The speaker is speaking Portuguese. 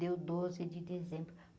Deu doze de dezembro.